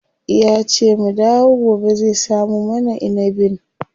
Yace mu dawo gobe zai samo mana inibin.